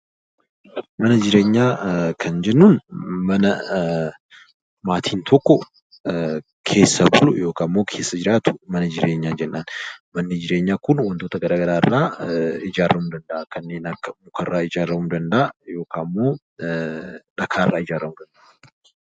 Mana jireenyaa kan jennuun mana maatiin tokko keessa jiraatu mana jireenyaa jennaan. Manni jireenyaa Kun wantoota garaagaraa irraa ijaaramuu danda'a. Kanneen akka mukarraa, dhagaarraa ijaaramuu danda'a .